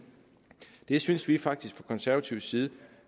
det synes vi faktisk fra konservativ side